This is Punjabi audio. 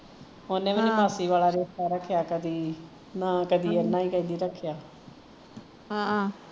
ਓਹਨੇ ਵੀ ਨੀ ਮਾਸੀ ਵਾਲਾ ਰਿਸ਼ਤਾ ਰੱਖਿਆ ਕਦੀ ਨਾ ਕਦੀ ਏਹਨਾ ਹੀਂ ਕਿਸੇ ਨੇ ਰੱਖਿਆ